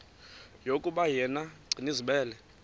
yokuba yena gcinizibele